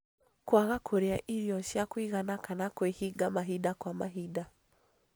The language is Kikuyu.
Kũaga kũrĩa irio cia kũigana kana kwĩhinga mahinda kwa mahinda